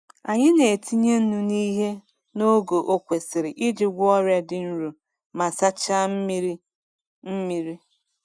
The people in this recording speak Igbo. Anyị na-etinye nnu n'ihe n’ogo o kwesiri iji gwọọ ọrịa dị nro ma sachaa mmiri. mmiri.